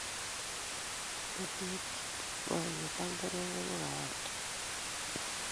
Betet ab boiboiyet ak neregek ko kawaida